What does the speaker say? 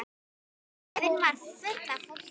Stöðin var full af fólki.